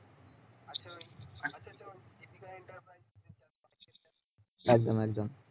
একদম একদম